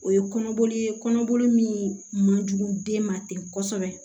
O ye kɔnɔboli ye kɔnɔboli min man jugu den ma ten kosɛbɛ